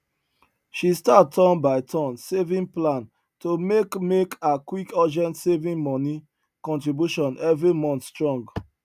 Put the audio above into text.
she start turn by turn saving plan to make make her quick urgent saving money contribution every month strong